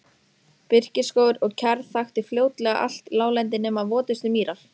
Birkiskógur og kjarr þakti fljótlega allt láglendi nema votustu mýrar.